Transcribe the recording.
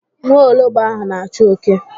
Nwa ologbo ahụ na-achụ oke.